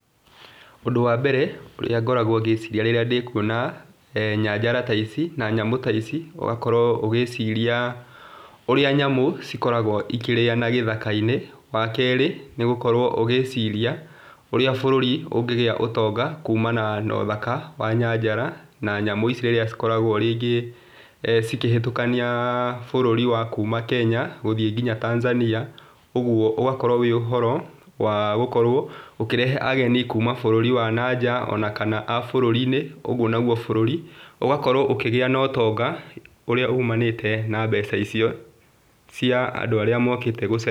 Ũndũ wa mbere ũrĩa ngoragwo ngĩciria rĩrĩa ndĩkuona nyanjara ta ici, na nyamũ ta ici, ũgakorwo ũgĩciria ũrĩa nyamu cĩkoragwo ikĩrĩana gĩthaka-inĩ, wa kerĩ, nĩ gũkorwo ũgĩciria ũrĩa bũrũri ũngĩgĩa ũtonga kumana na ũthaka wa nyajara na nyamũ ici rĩrĩa cikoragwo rĩngĩ cikĩhatũkania bũrũri wa kuma Kenya gũthiĩ nginya Tanzania. Ũguo ũgakorwo wĩ ũhoro wa gũkorwo ũkĩrehe ageni kuma bũrũri wa nanja, ona kana a bũrũri-inĩ, ũguo nagwo bũrũri ũgakorwo ũkĩgĩa na ũtonga ũrĩa umanĩte na mbeca icio cĩa andũ arĩa mokĩte gũcera.